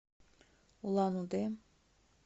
улан удэ